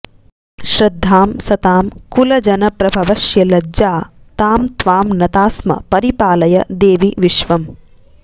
श्रद्धां सतां कुलजन प्रभवश्य लज्जा तां त्वां नतास्म परिपालय देवि विश्वम्